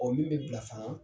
min be bila fana